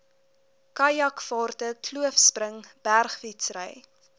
kajakvaarte kloofspring bergfietsry